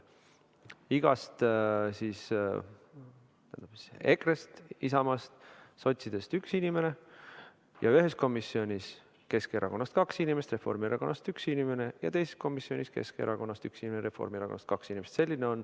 EKRE-st, Isamaast, sotsidest üks inimene, ühes komisjonis Keskerakonnast kaks inimest ja Reformierakonnast üks inimene ning teises komisjonis Keskerakonnast üks ja Reformierakonnast kaks inimest.